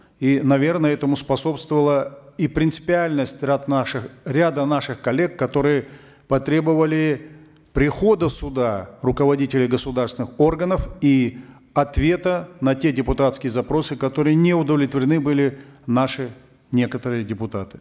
и наверно этому способствовала и принципиальность наших ряда наших коллег которые потребовали прихода сюда руководителей государственных органов и ответа на те депутатские запросы которыми не удовлетворены были наши некоторые депутаты